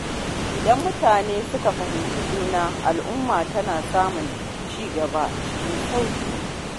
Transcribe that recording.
Idan mutane suka fahimci juna, al’umma tana samun cigaba cikin sauƙi.